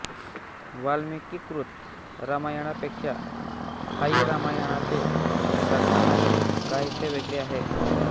वाल्मिकीकृत रामायणापेक्षा थाई रामायणाचे कथानक काहीसे वेगळे आहे